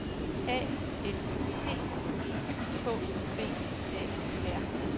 A N T I K V A R